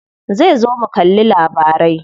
Zai zo mu kalli labarai.